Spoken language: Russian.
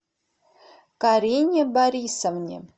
карине борисовне